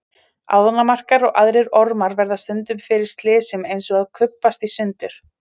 Ánamaðkar og aðrir ormar verða stundum fyrir slysum eins og að kubbast í sundur.